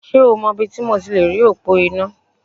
Ṣé o mọ ibi ti mo ti lèrí òpó iná?